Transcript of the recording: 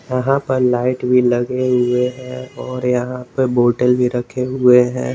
यहां प लाइट भी लगे हुए हैं और यहां पे बोटल भी रखे हुए हैं।